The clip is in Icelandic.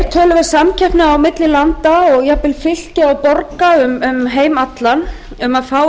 töluvert samkeppni á milli landa og jafnvel fylkja og borga um heim allan um að fá